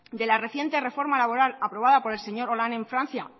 de la reciente reforma laboral aprobada por el señor hollande en francia